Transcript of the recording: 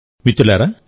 మిత్రులారా